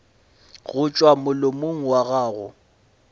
go tšwa molomong wa gago